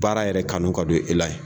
Baara yɛrɛ kanu ka don e la yen.